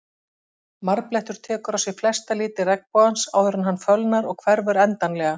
Marblettur tekur á sig flesta liti regnbogans áður en hann fölnar og hverfur endanlega.